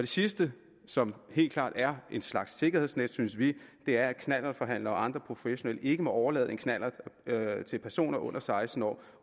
sidste som helt klart er en slags sikkerhedsnet synes vi er at knallertforhandlere og andre professionelle ikke må overlade en knallert til personer under seksten år